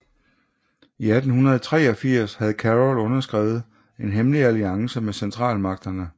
I 1883 havde Carol underskrevet en hemmelig alliance med Centralmagterne